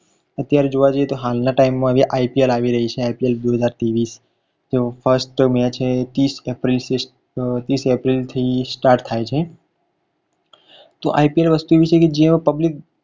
અત્યારે જોવા જઈએ તો હાલના time માં IPL આવી રહી છે IPL બે હાજર ત્રેવીસ તેઓ first match હૈ ત્રીસ એપ્રિલ ત્રીસ એપ્રિલ થ start થાય છે તો IPL વસ્તુ એવી છે કે જેમાં public